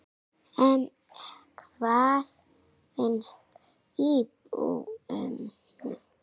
En hvað finnst íbúunum?